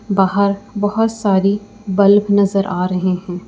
बाहर बहोत सारी बल्ब नजर आ रही हैं।